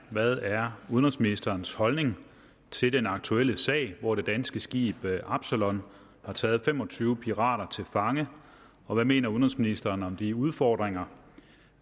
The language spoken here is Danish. hvad er udenrigsministerens holdning til den aktuelle sag hvor det danske skib absalon har taget fem og tyve pirater til fange og hvad mener udenrigsministeren om de udfordringer